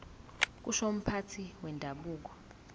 kusho umphathi wendabuko